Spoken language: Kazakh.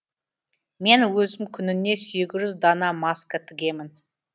мен өзім күніне сегіз дана маска тігемін